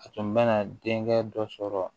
A tun bɛna denkɛ dɔ sɔrɔ